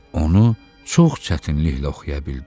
Onu çox çətinliklə oxuya bildi.